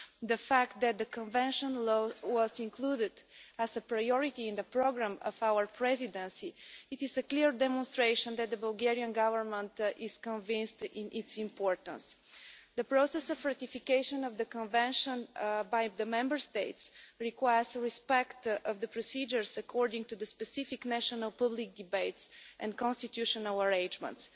The fact that the Convention law was included as a priority in the programme of our Presidency is a clear demonstration that the Bulgarian Government is convinced of its importance. The process of ratification of the Convention by the Member States requires respect of the procedures according to the specific national public debates and constitutional arrangements.